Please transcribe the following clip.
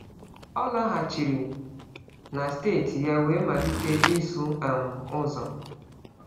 Ọ laghachiri na steeti ya wee malite ịsụ um ụzọ.